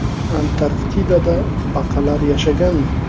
Antarktidada baqalar yashaganmi?.